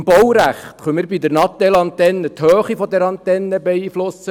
Im Baurecht können wir bei der Mobiltelefonantenne die Höhe der Antenne beeinflussen.